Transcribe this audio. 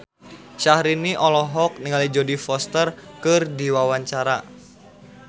Syahrini olohok ningali Jodie Foster keur diwawancara